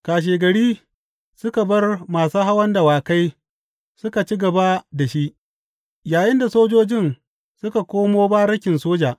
Kashegari suka bar masu hawan dawakai suka ci gaba da shi, yayinda sojojin suka koma barikin soja.